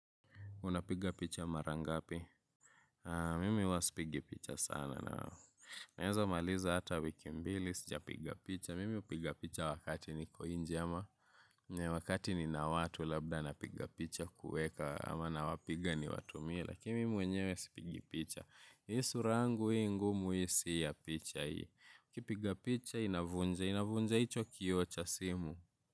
Unapiga picha mara ngapi? Mimi huwa sipigi picha sana. Naeza maliza ata wiki mbili sijapiga picha. Mimi upiga picha wakati niko inje ama. Wakati nina watu labda napiga picha kueka ama nawapiga niwatumie. Lakini mimi mwenyewe sipigi picha. Ii sura yangu ii ngumu ii si ya picha ii. ukipiga picha inavunja. Inavunja icho kioo cha simu.